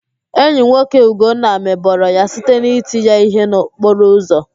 Enyi nwoke ụgonna mebọrọ ya site n'iti ya íhé n'okporo ụzọ